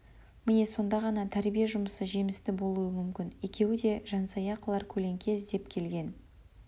міне сонда ғана тәрбие жұымысы жемісті болуы мүмкін екеуі де жансая қылар көлеңке іздеп келген